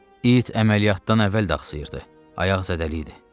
İt əməliyyatdan əvvəl də axsıyırdı, ayağı zədəliydi.